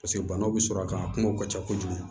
Paseke banaw bɛ sɔrɔ a kan kungow ka ca kojugu